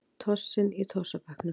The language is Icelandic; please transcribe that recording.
Tossinn í tossabekknum.